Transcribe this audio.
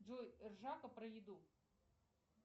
джой ржака про еду